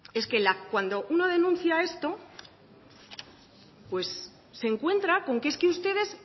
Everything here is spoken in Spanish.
es que cuando uno denuncia esto pues se encuentra con que es que ustedes